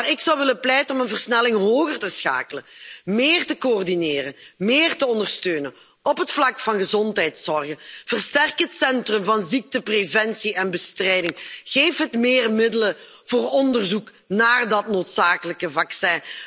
Maar ik zou ervoor willen pleiten om een versnelling hoger te schakelen, meer te coördineren, meer te ondersteunen op het vlak van gezondheidszorg. Versterk het Centrum voor ziektepreventie en bestrijding, geef het meer middelen voor onderzoek naar dat noodzakelijke vaccin.